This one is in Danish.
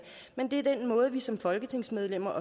men den måde vi som folketingsmedlemmer